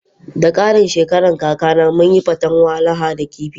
Da karin shekaran kakana munyi fatan Walaha da kifi.